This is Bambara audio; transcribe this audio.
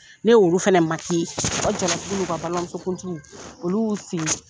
Ne y'olu fana u ka jalatigiwt n'u ka balimamusokuntigiw olu y'u sigi.